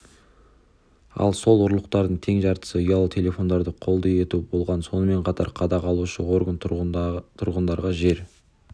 ал сол ұрлықтардың тең жартысы ұялы телефондарды қолды ету болған сонымен қатар қадағалаушы орган тұрғындарға жер